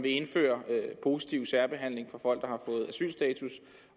indføres positiv særbehandling af folk